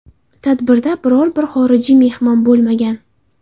Tadbirda biror bir xorijiy mehmon bo‘lmagan.